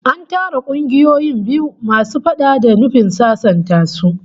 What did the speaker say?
An tara kungiyoyin biyu masu faɗa da nufin sasanta su